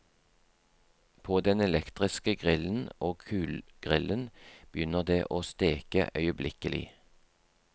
På den elektriske grillen og kullgrillen begynner det å steke øyeblikkelig.